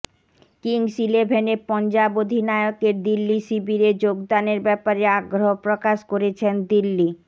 Kings eleven Punjab অধিনায়কের দিল্লি শিবিরে যোগদানের ব্যাপারে আগ্রহ প্রকাশ করেছেন দিল্লি